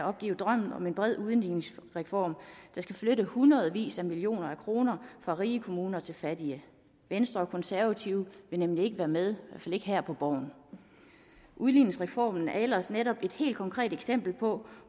opgive drømmen om en bred udligningsreform der skal flytte hundredvis af millioner kroner fra rige kommuner til fattige venstre og konservative vil nemlig ikke være med i ikke her på borgen udligningsreformen er ellers netop et helt konkret eksempel på